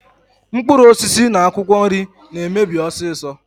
Mkpuruosisi na akwokwo nri na-emebi osiso.